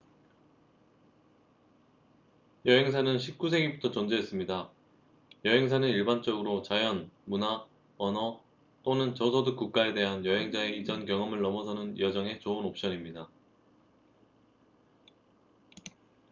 여행사는 19세기부터 존재했습니다 여행사는 일반적으로 자연 문화 언어 또는 저소득 국가에 대한 여행자의 이전 경험을 넘어서는 여정에 좋은 옵션입니다